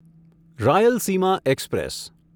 Rayalaseema express